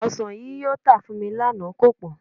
Ọsàn yíyọ tà fún mi lánàá kò pọ́n